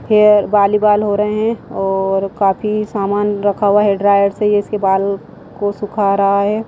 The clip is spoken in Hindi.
हेयर बाली बाल हो रहे हैंऔर काफ़ी सामान रखा हुआ है हेयर ड्रायर से यह इसके बाल को सुखा रहा है।